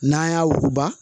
N'an y'a wuguba